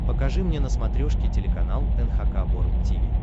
покажи мне на смотрешке телеканал эн эйч кей волд ти ви